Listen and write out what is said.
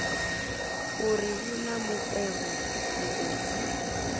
uri vhu na mukovhe muuku